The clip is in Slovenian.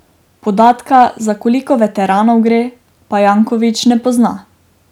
Podatka, za koliko veteranov gre, pa Jankovič ne pozna.